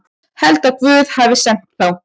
Held að Guð hafi sent þá.